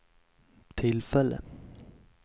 tillfälle